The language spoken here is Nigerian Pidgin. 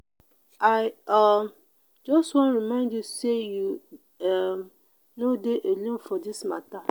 i um just wan remind you say you um no dey alone for this matter.